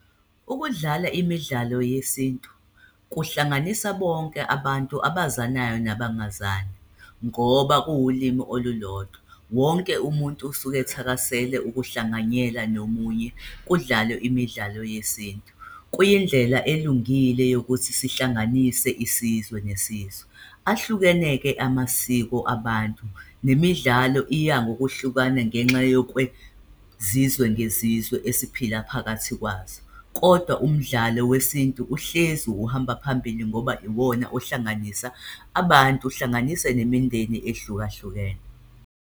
Ukudlala imidlalo yesintu kuhlanganisa bonke abantu abazanayo nabangazani, ngoba kuwulimi olulodwa. Wonke umuntu usuke ethakasela ukuhlanganyela nomunye, kudlalwe imidlalo yesintu. Kuyindlela elungile yokuthi sihlanganise isizwe nesizwe. Ahlukene-ke amasiko abantu, nemidlalo iya ngokwehlukana, ngenxa yokwezizwa ngezizwe esiphila phakathi kwazo. Kodwa umdlalo wesintu uhlezi uhamba phambili ngoba iwona ohlanganisa abantu, uhlanganise nemindeni ehlukahlukene.